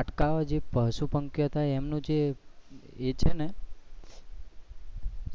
અટકાવાથી પશુ પંખી હતા ને એમનું જે એ છે ને